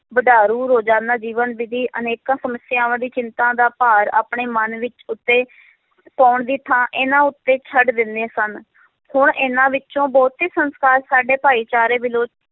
ਵਡਾਰੂ ਰੋਜ਼ਾਨਾ ਜੀਵਨ ਦੀ ਅਨੇਕਾਂ ਸਮੱਸਿਆਵਾਂ ਦੀ ਚਿੰਤਾ ਦਾ ਭਾਰ ਆਪਣੇ ਮਨ ਵਿੱਚ ਉੱਤੇ ਪਾਉਣ ਦੀ ਥਾਂ ਇਹਨਾਂ ਉੱਤੇ ਛੱਡ ਦਿੰਦੇ ਸਨ ਹੁਣ ਇਹਨਾਂ ਵਿੱਚੋਂ ਬਹੁਤੇ ਸੰਸਕਾਰ ਸਾਡੇ ਭਾਈਚਾਰੇ ਵਿਲੋ~